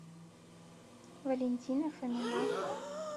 валентина фомина